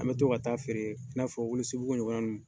An bɛ to ka taa feere i n'a fɔ Welesebugu ɲɔgɔn na ninnu na.